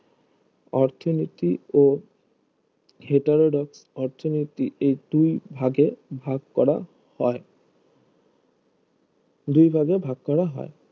অর্থনীতি ও হেটারোডক অর্থনীতি এই দুই ভাগে ভাগ করা হয় দুই ভাগে ভাগ করা হয়